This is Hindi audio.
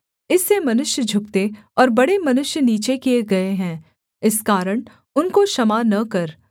इससे मनुष्य झुकते और बड़े मनुष्य नीचे किए गए है इस कारण उनको क्षमा न कर